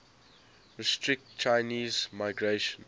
restrict chinese migration